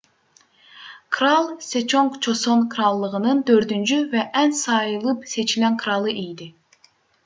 kral seconq coson krallığının dördüncü və ən sayılıb-seçilən kralı idi